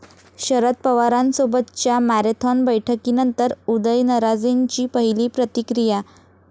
शरद पवारांसोबतच्या मॅरेथॉन बैठकीनंतर उदयनराजेंची पहिली प्रतिक्रिया